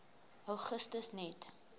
augustus net